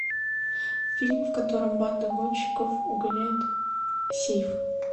фильм в котором банда гонщиков угоняет сейф